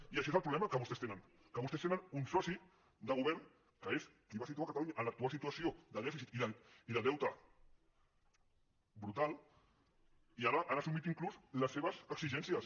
i aquest és el problema que vostès tenen que vostès tenen un soci de govern que és qui va situar catalunya en l’actual situació de dèficit i de deute brutal i ara han assumit inclús les seves exigències